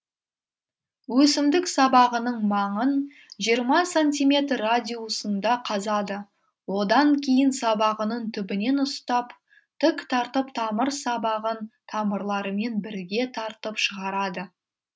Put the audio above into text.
өсімдік сабағының маңын жиырма сантиметр радиусында қазады одан кейін сабағының түбінен ұстап тік тартып тамырсабағын тамырларымен бірге тартып шығарады